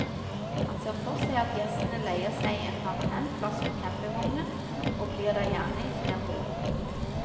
Han ser for seg at gjestene leier seg en permanent plass for campingvognen, og blir der gjerne i flere år.